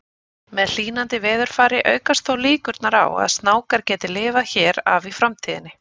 Með hlýnandi veðurfari aukast þó líkurnar á að snákar geti lifað hér af í framtíðinni.